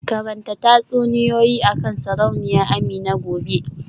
Karanta tatsuniyoyi akan Sarauniya Amina gobe